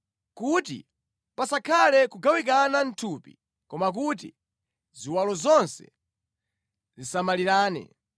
kuti pasakhale kugawikana mʼthupi koma kuti ziwalo zonse zisamalirane.